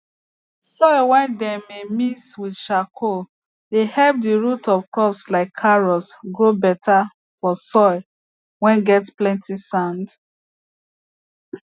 soil whey dem mey mixed with charcoal dey help the root of crops like carrots grow better for soil whey get plenty sand